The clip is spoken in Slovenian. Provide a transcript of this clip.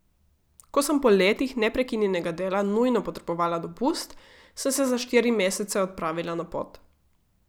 Ko sem po letih neprekinjenega dela nujno potrebovala dopust, sem se za štiri mesece odpravila na pot.